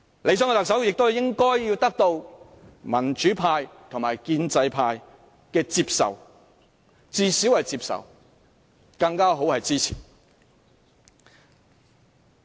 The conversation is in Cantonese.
理想的特首亦應獲得民主派及建制派的接受，至少要獲他們接受，能獲支持當然更佳。